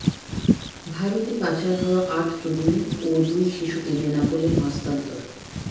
ভারতে পাচার হওয়া আট তরুণী ও দুই শিশুকে বেনাপোলে হস্তান্তর